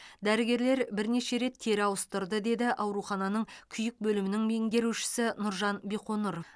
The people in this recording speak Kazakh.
дәрігерлер бірнеше рет тері ауыстырды деді аурухананың күйік бөлімінің меңгерушісі нұржан биқоңыр